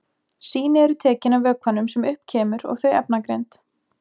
Sýni eru tekin af vökvanum sem upp kemur og þau efnagreind.